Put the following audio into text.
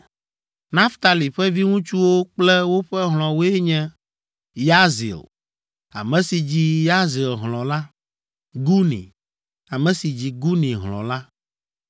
Naftali ƒe viŋutsuwo kple woƒe hlɔ̃woe nye: Yahzil, ame si dzi Yahzil hlɔ̃ la, Guni, ame si dzi Guni hlɔ̃ la,